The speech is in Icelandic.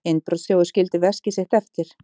Innbrotsþjófur skildi veskið sitt eftir